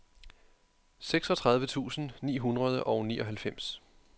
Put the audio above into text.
seksogtredive tusind ni hundrede og nioghalvfems